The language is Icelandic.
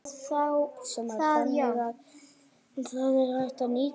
Kristján Már: Þannig að hann, það er hægt að nýta íslenska jörð?